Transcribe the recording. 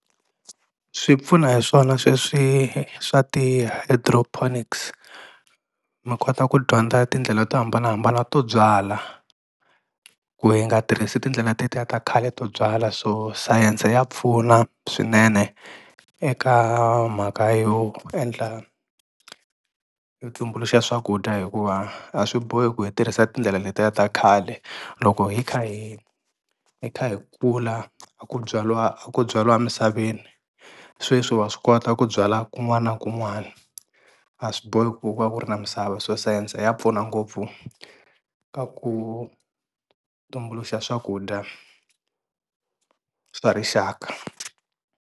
Swi pfuna hi swona sweswi swa ti-hydroponics mi kota ku dyondza tindlela to hambanahambana to byala ku hi nga tirhisi tindlela tetiya ta khale to byala so sayense ya pfuna swinene eka mhaka yo endla yo tumbuluxa swakudya hikuva a swi bohi ku hi tirhisa tindlela letiya ta khale loko hi kha hi hi kha hi kula a ku byaliwa a ku byaiwa misaveni sweswi wa swi kota ku byala kun'wana na kun'wana a swi bohi ku va ku ri na misava so sayense ya pfuna ngopfu ka ku tumbuluxa swakudya swa rixaka.